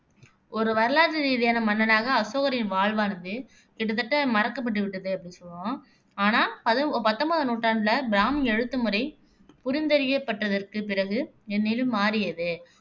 ஒரு வரலாறு ரீதியான மன்னனாக அசோகரின் வாழ்வானது கிட்டத்தட்ட மறக்கப்பட்டுவிட்டது அப்படின்னும் சொல்லுவோம். ஆனா பதி பத்தொன்பதாம் நூற்றாண்டுல பிராமி எழுத்துமுறை புரிந்தறியப்பட்டதற்குப் பிறகு இந்நிலை மாறியது.